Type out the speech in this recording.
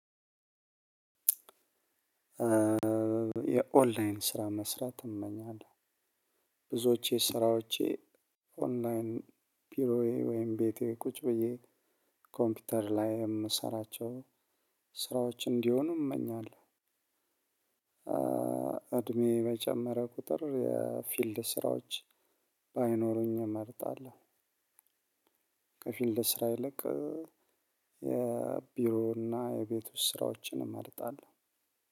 የኦንላይን ስራ መስራት እመኛለሁ። ብዙዎቼ ስራዎቼ ኦንላይን ቢሮዬ ወይም ቤቴ ቁጭ ብዬ ኮምፒውተር ላይ የምሰራቸው ስራዎች እንዲሆኑ። እመኛለሁ እድሜ በጨመረ ቁጥር የፊልድ ስራዎች ባይኖሩኝ እመርጣለሁ። ከፊልድ ስራ ይልቅ የቢሮ እና የቤት ውስጥ ስራዎችን እመርጣለሁ።